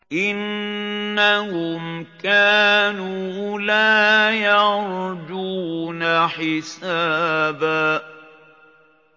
إِنَّهُمْ كَانُوا لَا يَرْجُونَ حِسَابًا